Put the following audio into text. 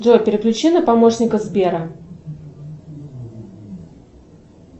джой переключи на помощника сбера